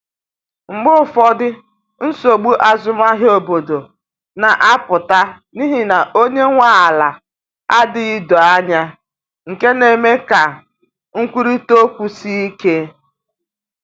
Mgbe ụfọdụ, nsogbu azụmahịa obodo na-apụta n’ihi na onye nwe ala adịghị doo anya, nke na-eme ka nkwurịta okwu sie ike.